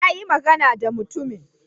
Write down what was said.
Na yi magana da mutumin.